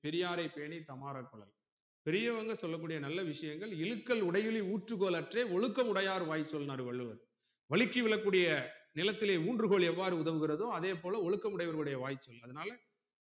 கொளல் பெரியவங்க சொல்ல கூடிய நல்ல விஷயங்கள் இலுக்கள் உடைகளில் ஊற்றுக்கோள் அற்றே ஒழுக்க உடையார் வாய்சொல்லுனார் வள்ளுவர் வழுக்கி விழக்கூடிய நிலத்திலே ஊன்றுகோல் எவ்வாறு உதவுகிறதோ அதேபோல ஒழுக்க முடையவருடைய வாய் சொல் அதனால